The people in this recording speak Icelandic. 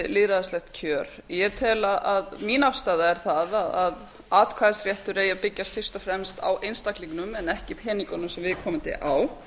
lýðræðislegt kjör mín afstaða er sú að atkvæðisréttur eigi að byggjast fyrst og fremst á einstaklingnum en ekki peningunum sem viðkomandi á